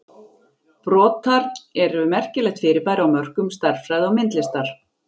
Brotar eru merkilegt fyrirbæri á mörkum stærðfræði og myndlistar.